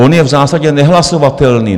on je v zásadě nehlasovatelný.